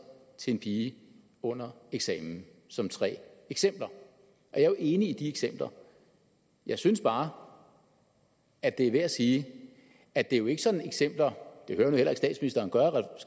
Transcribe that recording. til en pige under eksamen som tre eksempler jeg er jo enig i de eksempler jeg synes bare at det er værd at sige at det jo ikke sådan er eksempler det hører